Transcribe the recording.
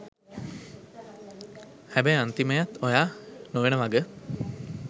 හැබැයි අන්තිමයත් ඔයා නොවෙන වග